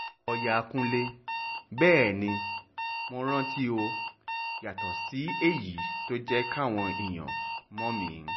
lọ́ọ̀yà kúnlẹ̀ bẹ́ẹ̀ ni mo rántíó yàtọ̀ sí èyí tó jẹ́ káwọn èèyàn mọ̀ mí